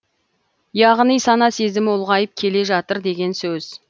яғни сана сезімі ұлғайып келе жатыр деген сөз